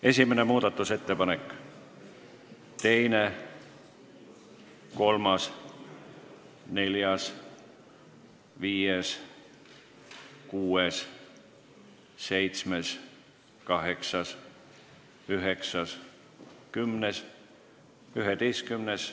Esimene muudatusettepanek, teine, kolmas, neljas, viies, kuues, seitsmes, kaheksas, üheksas, kümnes, üheteistkümnes.